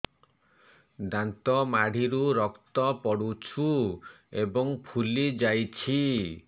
ଦାନ୍ତ ମାଢ଼ିରୁ ରକ୍ତ ପଡୁଛୁ ଏବଂ ଫୁଲି ଯାଇଛି